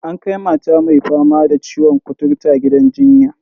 An kai mata mai fama da ciwon kuturta gidan jinya.